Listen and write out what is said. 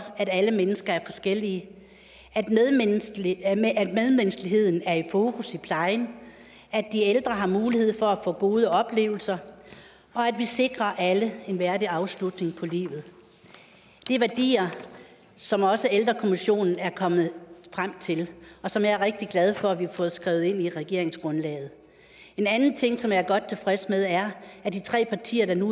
at alle mennesker er forskellige at medmenneskeligheden er i fokus i plejen at de ældre har mulighed for at få gode oplevelser og at vi sikrer alle en værdig afslutning på livet det er værdier som også ældrekommissionen er kommet frem til og som jeg er rigtig glad for at vi har fået skrevet ind i regeringsgrundlaget en anden ting som jeg er godt tilfreds med er at de tre partier der nu